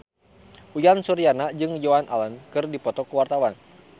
Uyan Suryana jeung Joan Allen keur dipoto ku wartawan